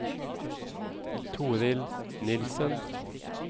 Torild Nilssen